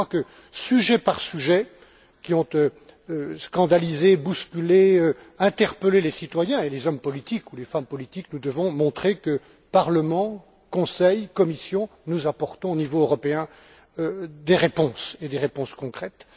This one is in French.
Je crois que, concernant chacun des sujets qui ont scandalisé, bousculé, interpellé les citoyens et les hommes politiques ou les femmes politiques, nous devons montrer que nous, Parlement, Conseil, Commission, nous apportons au niveau européen des réponses, et des réponses concrètes.